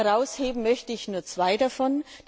Herausheben möchte ich nur zwei davon.